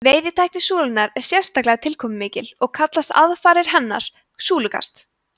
veiðitækni súlunnar er sérstaklega tilkomumikil og kallast aðfarirnar súlukast